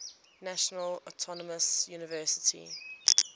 national autonomous university